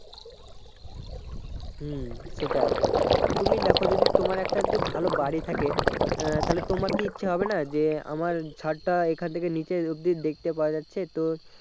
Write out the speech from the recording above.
হম সেটাই তুমি দেখো যদি তোমার একটা যদি ভালো বাড়ি থাকে আহ তাহলে তোমার্ কি ইচ্ছে হবে না যে আমার ছাদটা এখান থেকে নিচে অব্দি দেখতে পাওয়া যাচ্ছে তো